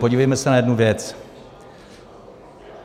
Podívejme se na jednu věc.